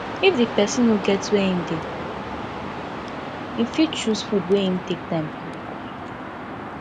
if di person no get where im dey go im fit choose food wey im take time cook